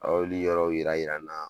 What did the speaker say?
A ye olu yɔrɔw yira yira n na.